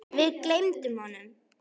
Við gleymum honum!